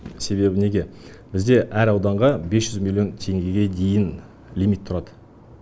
себебі неге бізде әр ауданға бес жүз миллион теңгеге дейін лимит тұрады